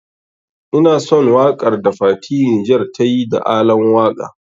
Ina son waƙar da fati Niger tayi da Alan waka.